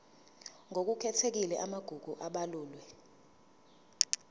ngokukhethekile amagugu abalulwe